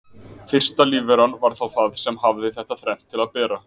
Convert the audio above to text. Fyrsta lífveran var þá það sem hafði þetta þrennt til að bera.